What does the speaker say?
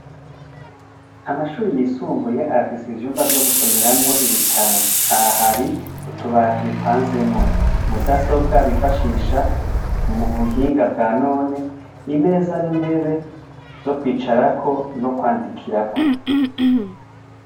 Amashuri yisumbuye afise ivyumba vyo gusomeramwo ibitabo, aha hari mutubati bipanzemwo, mudasobwa bifashisha ubuhinga bwa none, imeza nintebe vyo kwandukirako no gusomerako.